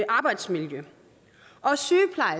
arbejdsmiljø